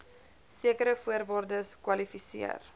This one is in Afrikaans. sekere voorwaardes kwalifiseer